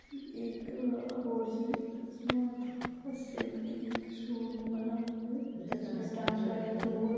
एक अ four G smart अ सिम के लिए एक शो रूम बना हुआ है जिसमे ट्रांसपेरेंट डोर --